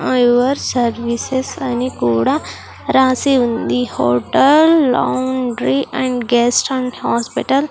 Your services అని కూడా రాసి ఉంది hotel laundry and guest and hospital .